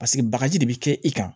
Paseke bagaji de bɛ kɛ i kan